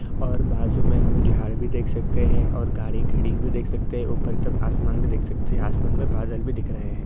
और बाजु में हम झाड़ भी देख सकते हैं और गाड़ी खड़ी हुई देख सकते हैं ऊपर तक आसमान भी देख सकते हैं आसमान में बादल भी दिख रहे हैं।